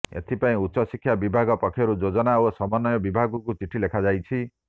ଏଥିପାଇଁ ଉଚ୍ଚଶିକ୍ଷା ବିଭାଗ ପକ୍ଷରୁ ଯୋଜନା ଓ ସମନ୍ବୟ ବିଭାଗକୁ ଚିଠି ଲେଖାଯାଇଛି